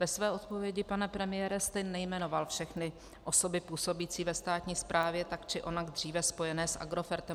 Ve své odpovědi, pane premiére, jste nejmenoval všechny osoby působící ve státní správě tak či onak dříve spojené s Agrofertem.